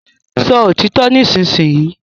Sọ òtítọ nisinyi!